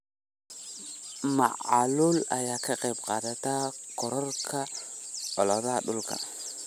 Macaluul ayaa ka qayb qaadata kororka colaadaha dhulka.